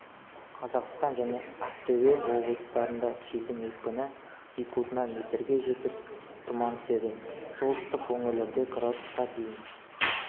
қазақстан және ақтөбе облыстарында желдің екпіні секундына метрге жетіп тұман түседі солтүстік өңірлерде градусқа дейін